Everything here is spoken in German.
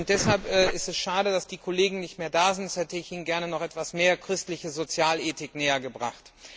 Deshalb ist es schade, dass die Kollegen nicht mehr da sind, sonst hätte ich ihnen gerne noch etwas mehr christliche Sozialethik nähergebracht.